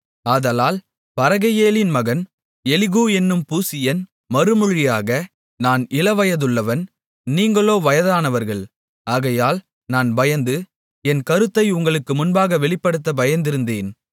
ஆதலால் பரகெயேலின் மகன் எலிகூ என்னும் பூசியன் மறுமொழியாக நான் இளவயதுள்ளவன் நீங்களோ வயதானவர்கள் ஆகையால் நான் பயந்து என் கருத்தை உங்களுக்கு முன்பாக வெளிப்படுத்த பயந்திருந்தேன்